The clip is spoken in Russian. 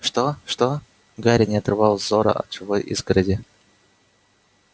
что что гарри не отрывал взора от живой изгороди